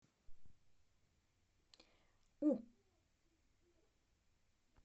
у